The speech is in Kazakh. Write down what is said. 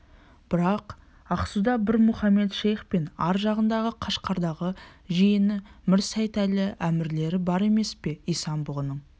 бірақ ақсуда мір мұхамед-шейх пен ар жағындағы қашқардағы жиені мір сейтәлі әмірлер бар емес пе исан-бұғының